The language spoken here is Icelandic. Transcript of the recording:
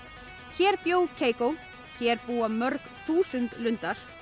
hér bjó Keikó hér búa mörg þúsund lundar